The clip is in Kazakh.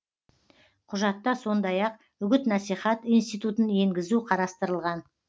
құжатта сондай ақ үгіт насихат институтын енгізу қарастырылған